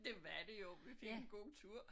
Det var det jo vi fik en god tur